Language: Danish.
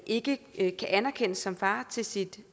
ikke ikke kan anerkendes som far til sit